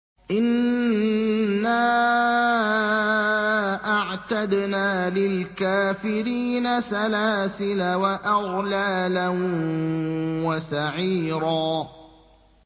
إِنَّا أَعْتَدْنَا لِلْكَافِرِينَ سَلَاسِلَ وَأَغْلَالًا وَسَعِيرًا